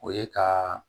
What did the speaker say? O ye ka